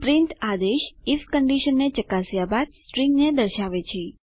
print આદેશ IF કંડીશનને ચકાસ્યા બાદ સ્ટ્રીંગને દર્શાવે છે